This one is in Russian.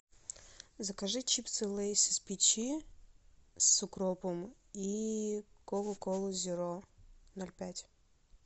закажи чипсы лейс из печи с укропом и кока колу зеро ноль пять